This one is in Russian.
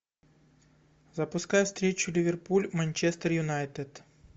запускай встречу ливерпуль манчестер юнайтед